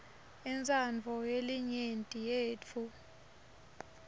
intsandvo yelinyenti yetfu